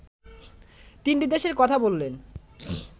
তিনটি দেশের কথা বললেন